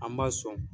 An b'a sɔn